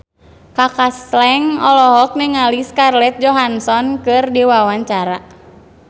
Kaka Slank olohok ningali Scarlett Johansson keur diwawancara